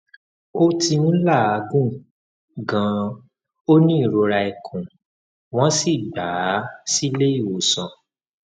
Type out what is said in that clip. ó ti ń làágùn ganan ó ní ìrora ikùn wọn sì gbà á sílé ìwòsàn